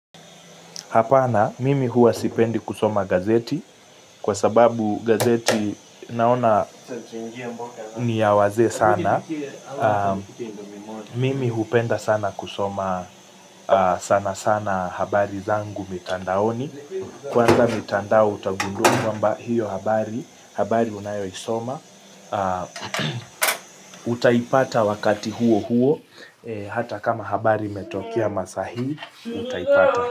Hapana, mimi huwa sipendi kusoma gazeti, kwa sababu gazeti naona niyawazee sana, mimi hupenda sana kusoma sana sana habari zangu mitandaoni, kwanza mitandao utagundua kwamba hiyo habari, habari unayo isoma, utaipata wakati huo huo, hata kama habari imetokea masaa hii utaipata.